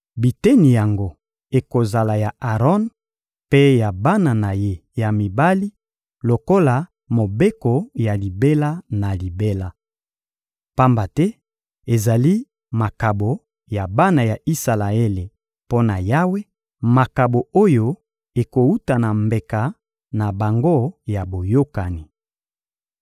Biteni yango ekozala ya Aron mpe ya bana na ye ya mibali lokola mobeko ya libela na libela. Pamba te ezali makabo ya bana ya Isalaele mpo na Yawe, makabo oyo ekowuta na mbeka na bango ya boyokani.